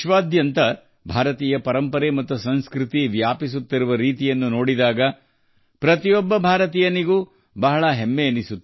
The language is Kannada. ಅಂತಹ ಭಾರತೀಯ ಪರಂಪರೆ ಮತ್ತು ಸಂಸ್ಕೃತಿಯ ಹರಡುವಿಕೆಯನ್ನು ವಿಶ್ವಾದ್ಯಂತ ನೋಡಿದಾಗ ಪ್ರತಿಯೊಬ್ಬ ಭಾರತೀಯನು ಹೆಮ್ಮೆಪಡುತ್ತಾನೆ